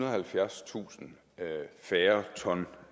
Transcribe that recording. og halvfjerdstusind færre ton